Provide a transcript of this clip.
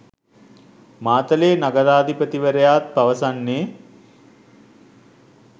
මාතලේ නගරාධිපතිවරයාත් පවසන්නේ